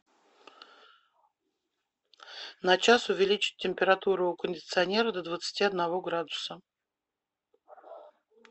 на час увеличить температуру у кондиционера до двадцати одного градуса